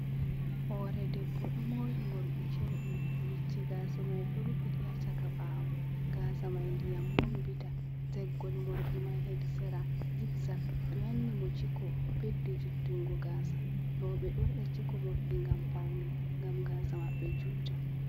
Hore debbo ɗo mori morɗi cewɗi bicce gasa mai ɗo rufiti ha chaka ɓawo, gasa mai ndiyam bonbita, teggol morɗi mai hedi sera jig zak, ɓe wanni mo ciko ɓeddi juttungo gasa, roɓɓe ɗo wada ciko morɗi ngam paune, ngam gasa maɓɓe juta.